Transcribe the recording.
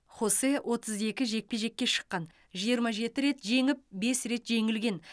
хосе отыз екі жекпе жекке шыққан жиырма жеті рет жеңіп бес рет жеңілген